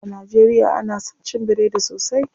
A najeriya ana son cin biredi sosai.